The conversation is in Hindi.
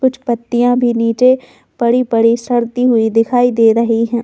कुछ पत्तिया भी निचे पड़ी-पड़ी सड़ती हुई दिखाई दे रही है।